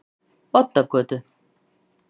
Oddagötu